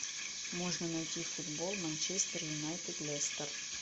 можно найти футбол манчестер юнайтед лестер